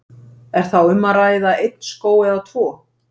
Er þá um að ræða einn skóg eða tvo?